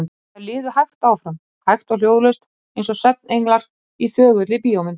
Þær liðu hægt áfram, hægt og hljóðlaust, eins og svefngenglar í þögulli bíómynd.